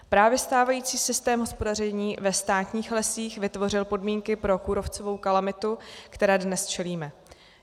Právě stávající systém hospodaření ve státních lesích vytvořil podmínky pro kůrovcovou kalamitu, které dnes čelíme.